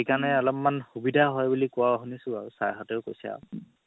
সেইকাৰণে অলপমান সুবিধা হয় বুলি কুৱা শুনিছো আৰু sir হাতেও কৈছে আৰু